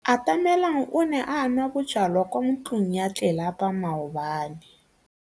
Atamelang o ne a nwa bojwala kwa ntlong ya tlelapa maobane.